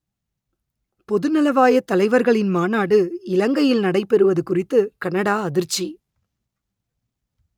பொதுநலவாயத் தலைவர்களின் மாநாடு இலங்கையில் நடைபெறுவது குறித்து கனடா அதிர்ச்சி